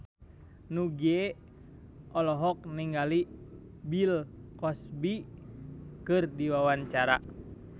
Nugie olohok ningali Bill Cosby keur diwawancara